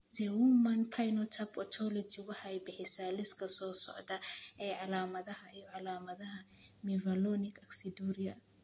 The Human Phenotype Ontology waxay bixisaa liiska soo socda ee calaamadaha iyo calaamadaha Mevalonic aciduria.